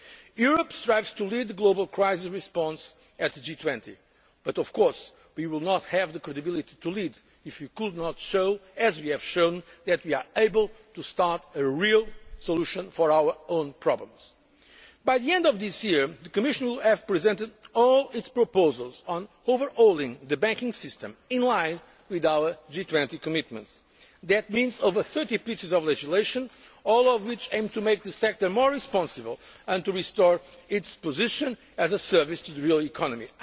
level. Europe strives to lead the global crisis response at the G20 but, of course, we will not have the credibility to lead if we can not show as we have shown that we are able to move towards a real solution for our own problems. By the end of this year, the Commission will have presented all its proposals on overhauling the banking system, in line with our G20 commitments. That means over 30 pieces of legislation, all of which aim to make the sector more responsible and to restore its position as a service to the real